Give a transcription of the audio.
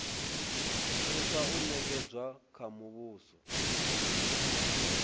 thusa o nekedzwa kha muvhuso